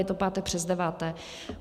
Je to páté přes deváté.